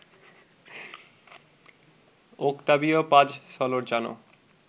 Octavio Paz Solorzano